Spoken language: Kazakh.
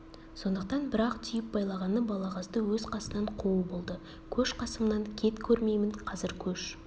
сондықтан бір-ақ түйіп байлағаны балағазды өз қасынан қуу болды көш қасымнан кет көрмеймін қазір көш